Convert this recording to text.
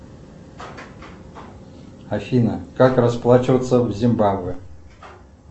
афина как расплачиваться в зимбабве